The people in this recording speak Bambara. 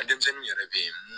Denmisɛnninw yɛrɛ bɛ ye